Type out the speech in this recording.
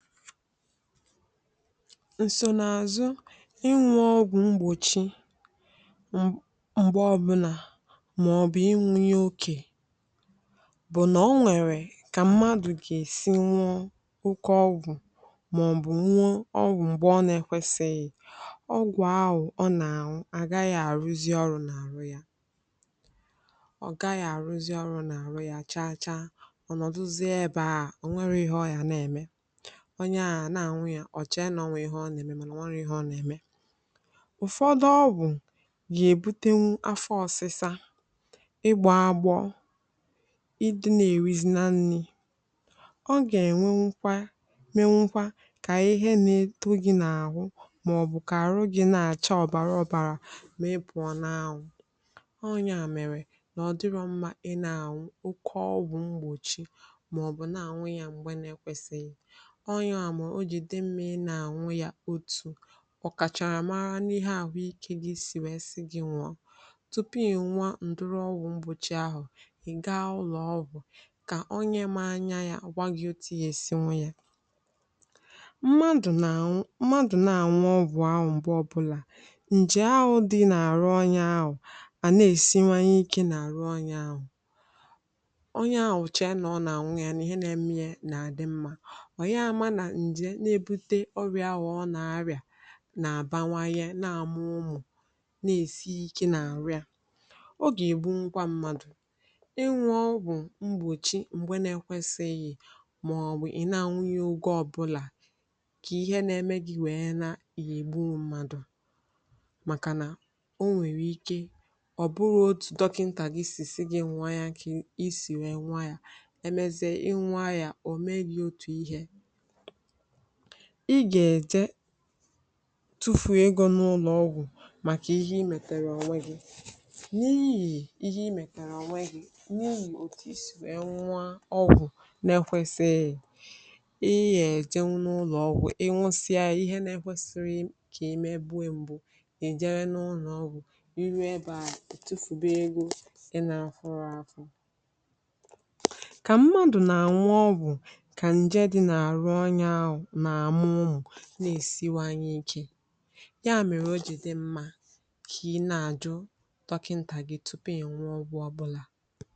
FILE 137 ǹsònàzụ ịnwụ̄ ọgwụ mgbòchi m m̀gbe ọbụnà, mà ọ̀ bụ̀ ịnwụ̄ ya okè, bụ̀ nà ọ nwẹ̀rẹ̀ kà mmadū gà èsi ñụọ oke ọgwụ̀, mà ọ̀ bụ̀ nwụọ ọgwụ̀ m̀gbẹ̀ ọ na ẹkwẹsịghị̀, ọgwụ̀ ahụ̀ ọ nà ànwụ àgaghị àrụzị ọrụ̄ n’àhụ yā. ọ̀ gaghị àrụzị ọrụ̄ n’àhụ ya cha cha, ọ̀ nọ̀dụzịe ebē ahụ̀, ọ̀ nwẹghị ịhẹ ọ gà nà ẹ̀mè. onye ahụ̀ à nà àñụ ya, ọ chẹ nà ọ nwẹ ịhẹ ọ nà ẹ̀mẹ, mànà ọ nwẹrọ ịhẹ ọ nà ẹ̀mẹ. ụ̀fọdụ ọgwụ̀ yà èbutenwu afọ ọsịsa, ịgbō agbọ, ị dịna èrizina nrī. ọ gà ènwenwukwa, menwukwa kà ịhẹ na etu gị n’àhụ, mà ọ̀ bụ̀ àhụ gị nà àcha ọ̀bàra ọ̀bàrà, mà ị pụọ na anwụ̄. ọ yà mẹ̀rẹ̀̀ nà ọ̀ dịrọ mmā ị nà ànwụ oke ọgwụ̄ mgbòchi, mà ọ̀ bụ̀ nà ànwụ ya n’ogè na ẹkwẹsịghị. ọ yà mẹ̀rẹ̀ o jì nà àdị mmā ị nà ànwụ ya otù, ọ̀ kàchàrà mara n’ịhẹ ahụikē gị sì wẹ sị gị ñụ̀ọ. tupù ị̀ ñụọ ùdiri ogwù mgbòchi ahụ̀, ị̀ ga ụlọ̀ ọgwụ̀, kà onyẹ ma anya ya gwa gi otu ị yà èsi ñụ ya. mmadụ̀ nà àñụ mmadù nà àñụ ọgwụ̀ ahụ̀ m̀gbe ọbụlà, ǹjè ahụ̄ dị nà àrụ onye ahụ̀ à nà èsiwanyẹ ikē nà àhụ onye ahụ̀. onyẹ ahụ̀ chẹ̀ẹ nà ọ nà àñụ ya nà ịhẹ na ẹmẹ ya nà àdị mmā, ọ̀ ya ma nà ǹjẹ̀ na ebute ọrị̀à ahụ̀ ọ nà àrị̀à nà àbanwanyẹ nà àmụ ụmụ̀, nà èsi ikē nà àrụ ya. o gà ègbunwukwa mmadù. ịnwụ̄ ọgwụ̀ mgbòchi m̀gbẹ na ẹkwẹsịghị̀, mà ọ̀ bụ̀ ị̀ nà àñụ ya ogē ọbụlà kà ịhẹ nae ̣mẹ gị wẹ̀ẹ na, ị nà ègbu mmadù, màkà nà o nwẹ̀rẹ̀ ike, ọ̀ bụhọ otu dọkịntà gi gà èsi gị ñụọ ya kà ị sì nụ̃ọ ya, ẹmẹzie ị nụọ ya, ò me gi otù ihē. ị gà ẹ̀̀jẹ tufùo egō n’ụlọ̀ ọgwụ̀, màkà ịhẹ ị mẹ̀tèrè ọ̀nwẹ gị. n’ihì ịhẹ ị mẹ̀tèrè ọ̀nwẹ gi, n’ihì òtù isì wẹ nụọ ọgwụ na ẹkwẹsịghị, ị yà ẹ̀jẹnwụ n’ụlọ̀ ị ñụsịa ya, ịhẹ na ẹkwẹsịrọ̀ kà emebuo mbụ, ị̀ jẹwẹ n’ụnọ̀ ọgwụ̀, ị ruo ẹbẹ̄ ahụ̀, ì tufùbe egō ị nā afụrọ afụ. kà mmadù nà ànwụ ọgwụ̀ kà ǹjẹ dị n’àrụ onyẹ̄ ahụ̀ nà àmụ ụmụ̀, nà èsinwanye ikē, yà mẹ̀rẹ̀ o jì dị mmā kà ị nà àjụ dọkịǹtà gị tupù ị̀ nà àñụ ọgwụ̄ ọbụlà.